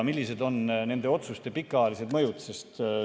Millised on nende otsuste pikaajalised mõjud?